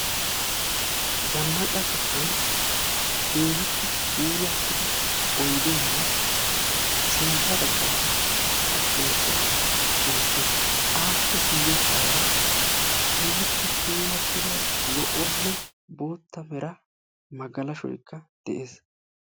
Zannaqa sohuwan keehippe puulatida oyddene sintta baggara xaraphphezzay beettees. Appe guuyesara keehippe puulatida zo'o nne bottaa meera magalashoyka de'ees.